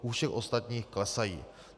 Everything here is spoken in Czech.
U všech ostatních klesají.